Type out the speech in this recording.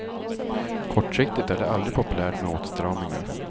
Kortsiktigt är det aldrig populärt med åtstramningar.